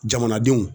Jamanadenw